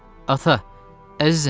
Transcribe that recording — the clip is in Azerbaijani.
Ata, əzizim!